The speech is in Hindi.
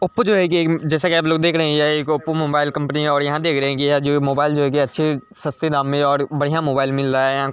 ओपो जो है ये एक जैसा आप लोग देखा रहे है यहाँ एक ओपो मोबाइल कम्पनी है और यहाँ देख रहे है यहाँ जो है मोबाइल जो है की अच्छे सस्ते दाम में और बढ़िया मोबाइल मिल रहा है।